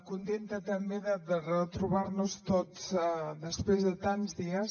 contenta també de retrobar nos tots després de tants dies